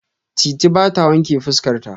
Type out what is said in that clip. Titi ba ta wanƙe fuska ta.